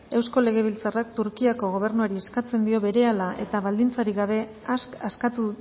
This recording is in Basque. eusko legebiltzarrak turkiako gobernuari eskatzen dio berehala eta baldintzarik gabe askatu